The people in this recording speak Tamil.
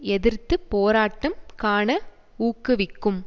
எதிர்த்து போராட்டம் காண ஊக்குவிக்கும்